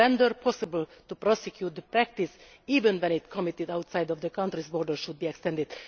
it possible to prosecute the practice, even when it is committed outside the countries' borders should be extended.